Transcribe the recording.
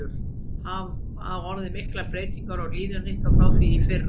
Hafa orðið miklar breytingar á liðinu ykkar frá því í fyrra?